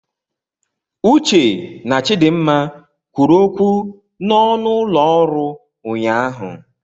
Uche na Chidimma kwuru okwu n'ọnụ ụlọ ọrụ ụnyahụ.